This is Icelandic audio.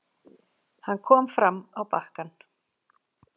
Hann kom fram á bakkann.